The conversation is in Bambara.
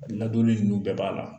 Ladonli ninnu bɛɛ b'a la.